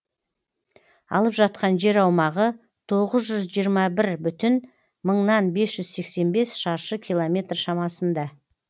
алып жатқан жер аумағы тоғыз жүз жиырма бір бүтін мыңнан бес жүз сексен бес шаршы километр шамасында